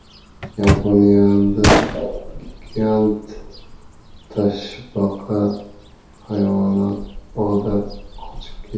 Yaponiyada gigant toshbaqa hayvonot bog‘idan qochib ketdi.